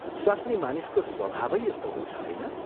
स्वास्नी मानिसको स्वभावै यस्तो हुन्छ, होइन?